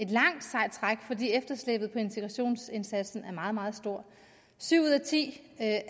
langt sejt træk fordi efterslæbet på integrationsindsatsen er meget meget stort syv ud af ti af